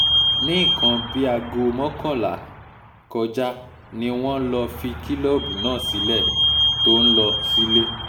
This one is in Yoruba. ní nǹkan bíi bíi aago mọ́kànlá um kọjá ni wọ́n lọ fi kìlọ̀ọ́bù náà sílẹ̀ tó ń lọ um sílé